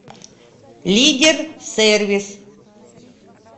лидер сервис